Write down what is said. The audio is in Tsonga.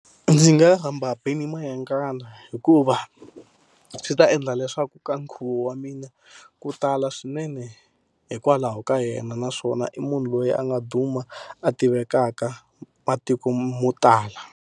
Ndzi nga rhamba Benny Mayengani hikuva swi ta endla leswaku ka nkhuvo wa mina ku tala swinene hikwalaho ka yena. Naswona i munhu loyi a nga duma a tivekaka matiko mo tala.